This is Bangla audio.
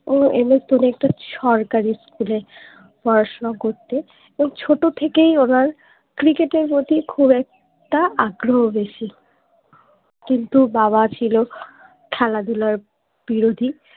ও MS ধোনি একটা সরকারি স্কুল এ পড়াশুনা করতেন ও ছোট থেকেই ওনার cricket এর প্রতি খুব একটা আগ্রহ বেশি কিন্তু বাবা ছিলো খেলাধুলার বিরোধী